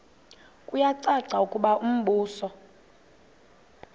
kuyacaca ukuba umbuso